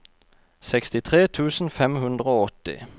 sekstitre tusen fem hundre og åtti